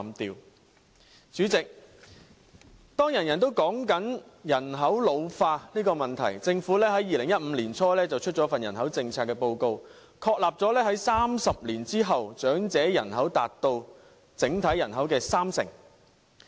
代理主席，當人人也在討論人口老化的問題，政府在2015年年初發表了一份人口政策報告，確立在30年後，長者人口達到整體人口的三成。